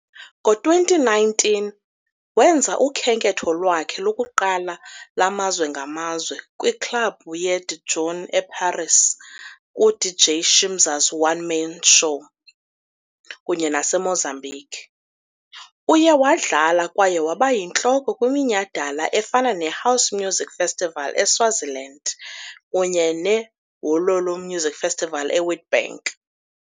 Ngo-2019, wenza ukhenketho lwakhe lokuqala lwamazwe ngamazwe kwiKlabhu ye-DJOON eParis ku-DJ Shimza's One Man Show kunye naseMozambique. Uye wadlala kwaye waba yintloko kwiminyhadala efana neHouse Musiq Festival eSwaziland kunye neWololo Music Festival eWitbank.